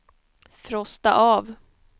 frosta av